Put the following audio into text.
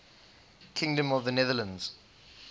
kingdom of the netherlands